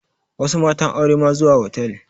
Wasu matan aure ma zuwa hotal